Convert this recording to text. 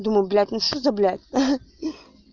думаю блять ну что за блять ха-ха